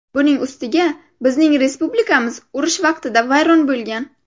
Buning ustiga bizning respublikamiz urush vaqtida vayron bo‘lgan.